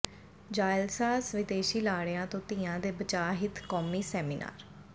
ਜਾਅਲਸਾਜ਼ ਵਿਦੇਸ਼ੀ ਲਾੜਿਆਂ ਤੋਂ ਧੀਆਂ ਦੇ ਬਚਾਅ ਹਿੱਤ ਕੌਮੀ ਸੈਮੀਨਾਰ